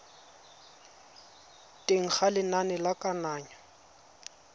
teng ga lenane la kananyo